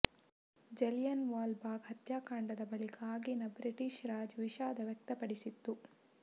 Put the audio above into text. ಜಲಿಯನ್ವಾಲಾ ಬಾಗ್ ಹತ್ಯಾಕಾಂಡದ ಬಳಿಕ ಆಗಿನ ಬ್ರಿಟಿಷ್ ರಾಜ್ ವಿಷಾದ ವ್ಯಕ್ತಪಡಿಸಿತ್ತು